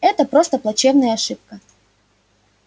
это просто плачевная ошибка